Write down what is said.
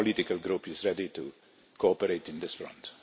Our political group is ready to cooperate on this front.